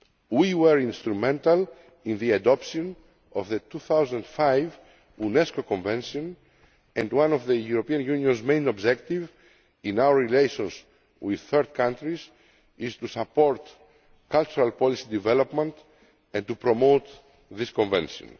We were instrumental in the adoption of the 2005 Unesco Convention and one of the European Union's main objectives in our relations with third countries is to support cultural policy development and to promote this Convention.